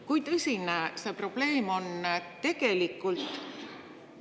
Kui tõsine see probleem tegelikult on?